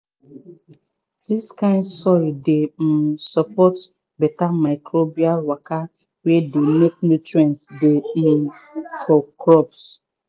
dis kind soil dey um support beta microbial waka wey dey make nutrients dey um for crops.